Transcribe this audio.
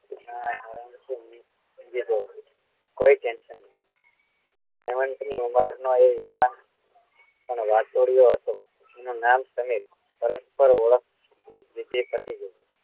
કોઈ tension નહીં એ હેમંત ની ઉંમર નો એ યુવાન પણ વાતુડિયો હતો એનું નામ સમીર પરસ્પર ઓળખ થતી ગઈ